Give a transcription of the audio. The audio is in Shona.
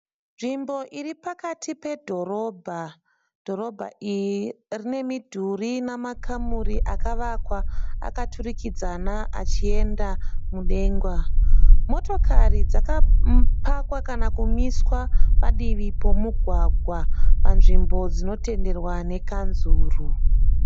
Nzvimbo iri pakati pedhorobha. Dhorobha iri rine midhuri ine makamuri akavakwa akaturikidzana achienda mudenga. Motokari dzakapakwa kana kumiswa padivi pomugwagwa panzvimbo dzinotenderwa nekanzuru.